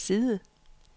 side